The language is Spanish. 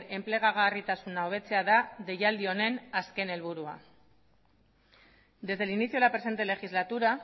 enplegagarritasuna hobetzea deialdi honen helburua desde el inicio de la presente legislatura